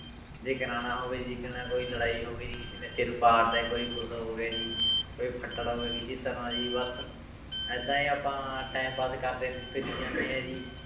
ਜੇ ਕਰਵਾਉਣਾ ਹੋਵੇ ਕੋਈ ਲੜਾਈ ਹੋਵੇ ਜੀ ਕਿਸੇ ਨੇ ਸਿਰ ਪਾੜ ਤਾ ਕੋਈ ਕੁਛ ਹੋ ਗਿਆ ਜੀ ਕੋਈ ਫੱਟੜ ਹੋ ਗਿਆ ਕਿਸੇ ਤਰ੍ਹਾਂ ਜੀ ਬਸ ਏਦਾਂ ਹੀ ਆਪਾਂ time pass ਕਰਦੇ ਫਿਰੀ ਜਾਂਦੇ ਹਾਂ ਜੀ